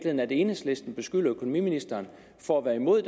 at enhedslisten beskylder økonomiministeren for at være imod